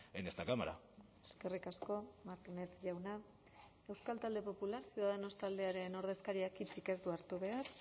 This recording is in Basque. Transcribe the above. en esta cámara eskerrik asko martínez jauna euskal talde popular ciudadanos taldearen ordezkariak hitzik ez du hartu behar